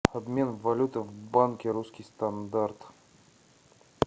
обмен валюты в банке русский стандарт